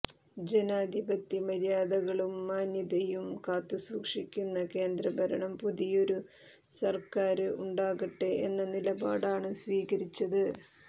ജനാധിപത്യമര്യാദകളും മാന്യതയും കാത്തുസൂക്ഷിക്കുന്ന കേന്ദ്രഭരണം പുതിയൊരു സര്ക്കാര് ഉണ്ടാകട്ടെ എന്ന നിലപാടാണ് സ്വീകരിച്ചത്